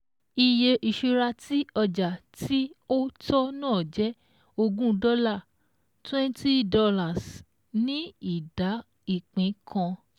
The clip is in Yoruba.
Iye ìṣura tí ọjà tí ó tọ́ náà jẹ́ ogún dọ́là twenty dollars ní ìdá ìpín kan